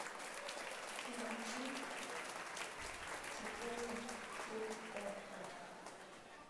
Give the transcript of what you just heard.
кинчик четыре кей окко